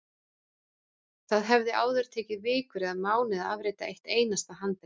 Það hafði áður tekið vikur eða mánuði að afrita eitt einasta handrit.